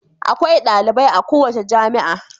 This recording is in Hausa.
Akwai dalibai a kowace jami'a.